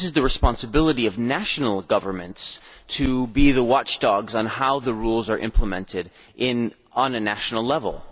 This is the responsibility of national governments to be the watchdogs on how the rules are implemented at a national level.